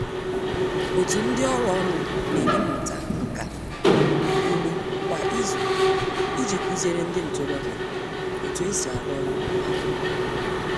Otu ndị ọrụ ọnụ na-enye mmụta nka ugbo kwa izu iji kụziere ndị ntorobịa otu e si arụ ọrụ akpụ